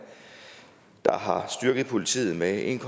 der har styrket politiet med en